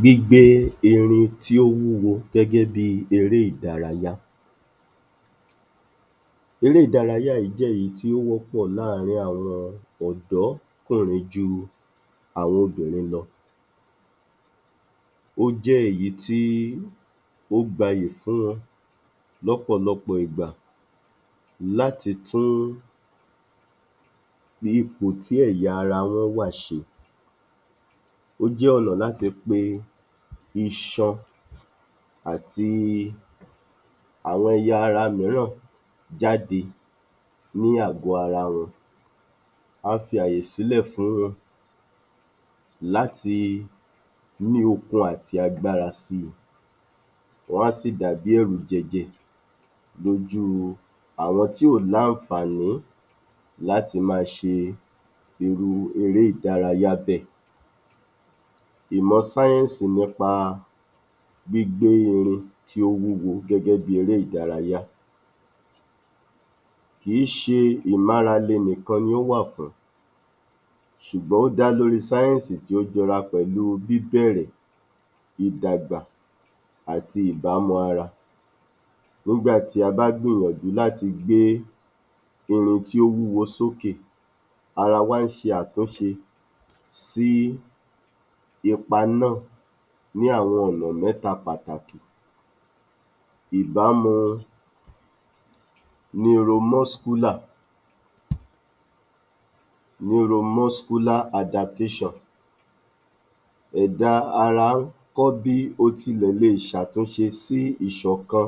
Gbígbé irin tí ó wúwo gẹ́gẹ́ bi eré-ìdárayá Eré-ìdárayá yìí jẹ́ èyí tí ó wọ́pọ̀ láàrin àwọn ọ̀dọ́kùnrin ju àwọn obìnrin lọ, ó jẹ́ èyí tí ó gbayì fún wọn lọ́pọ̀lọpọ̀ ìgbà láti tún ipò tí ẹ̀yà ara wọn wà ṣe, ó jẹ́ ọ̀nà láti pe iṣan àti àwọn ẹ̀yà ara mìíràn jáde ní àgò ara wọn, á fi àyè sílẹ̀ láti ní okun àti agbára si, wá sì dàbí ẹ̀rùjẹ̀jẹ̀ lójú àwọn tí ò ní àǹfààní láti máa ṣe irú eré-ìdárayá bẹ́ẹ̀. Ìmọ̀ sáyẹ̀nsì nípa gbígbé irin wúwo gẹ́gẹ́ bí eré-ìdárayá, kì í ṣe ìmárale nìkan ni ó wà fún, ṣùgbọ́n ó dá lórí sáyẹ̀nsì tí ó jọra pẹ̀lú bìbẹ̀ẹ̀rẹ̀, ìdàgbà àti ìbámu ara, nígbàtí a bá gbìyànjú láti gbé irin tí ó wúwo sóke, ara wa ń ṣe àtúnṣe sí ipa náà ní àwọn ọ̀nà mẹ́ta pàtàkì, ìbámu neuro-muscular[Neuro-muscular adaptation], ẹ̀dá ara ń kọ́ bí o ti lẹ̀ le ṣe àtunṣe sí ìṣọ̀kan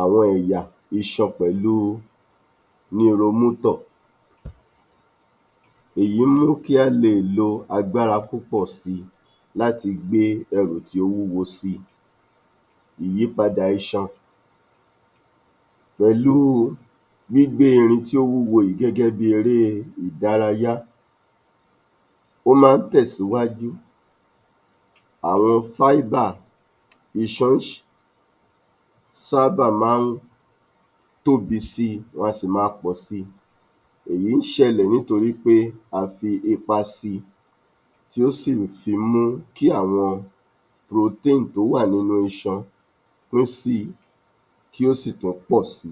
awọn ẹ̀yà iṣan pẹ̀lú neuro-motor. Èyí mú kí a lè lò agbára púpọ̀ si láti gbé ẹrù tí ó wúwo si. Ìyípadà iṣan pẹ̀lú gbígbé irin tó wúwo yìí gẹ́gẹ́ bi eré-ìdárayá, ó máa ń tẹ̀síwájú àwọn fibre, iṣan sábà máa ń tóbi si, wá si máa pọ̀ si. Èyí ń ṣẹlẹ̀ nítorí wí pé a fi ipa si, tí ó si fi mú kí àwọn protein tó wà nínú iṣan, kí ó sì tún pọ̀ si.